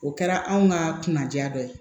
O kɛra anw ka kunnaja dɔ ye